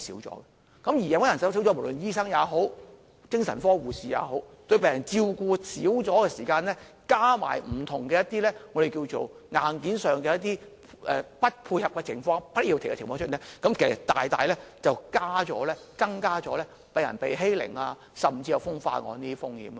而病房人手減少，無論醫生也好、精神科護士也好，對病人照顧減少的時候，再加上不同硬件的不協調情況，這樣大大增加病人被欺凌，甚至風化案的風險。